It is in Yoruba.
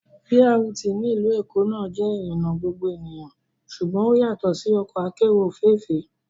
BRT ní ìlú Èkó náà jẹ́ ìrìnà gbogbo ènìyàn ṣùgbọ́n ó yàtọ̀ sí ọkọ akérò òféèfé